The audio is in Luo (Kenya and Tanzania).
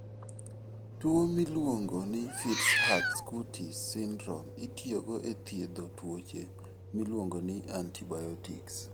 Tuwo miluongo ni Fitz Hugh Curtis syndrome itiyogo e thiedho tuoche miluongo ni antibiotics.